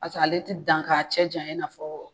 Pase ale te dan k'a cɛ janyan i n'a fɔ